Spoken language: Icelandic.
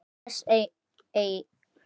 Til hvers eigin